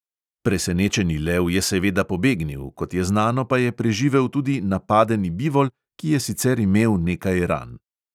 Presenečeni lev je seveda pobegnil, kot je znano pa je preživel tudi napadeni bivol, ki je sicer imel nekaj ran.